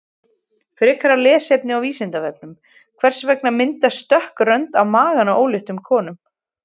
Frekara lesefni á Vísindavefnum: Hvers vegna myndast dökk rönd á maganum á óléttum konum?